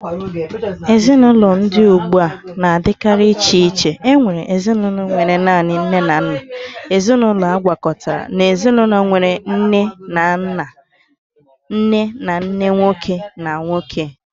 Ezinụlọ ndị dị ugbu a na-adịkarị iche iche, nwere ezinụlọ nwere naanị nne na nna, ezinaụlọ agwakọtara, na ezinụlọ nwere nne na nne nwoke na nwoke